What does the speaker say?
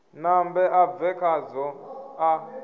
nambe a bve khazwo a